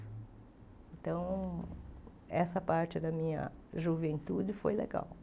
Então, essa parte da minha juventude foi legal.